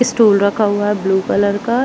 Stool रखा हुआ है ब्लू कलर का।